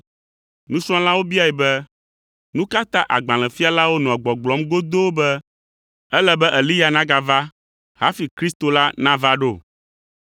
Nusrɔ̃lawo biae be, “Nu ka ta agbalẽfialawo nɔa gbɔgblɔm godoo be ele be Eliya nagava hafi Kristo la nava ɖo?”